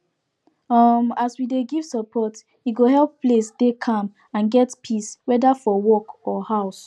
um as we dey give support e go help place dey calm and get peace whether for work or house